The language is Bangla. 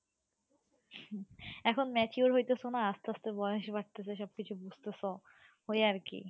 এখন mature হৈতেছো না, আসতে আসতে বয়স বাড়তেছে সবকিছু বুঝতেছ, ওই আরকি।